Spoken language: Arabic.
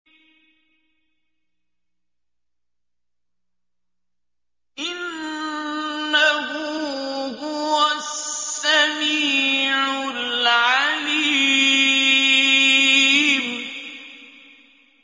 إِنَّهُ هُوَ السَّمِيعُ الْعَلِيمُ